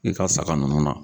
I ka saga nunnu na.